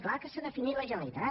clar que s’ha definit la generalitat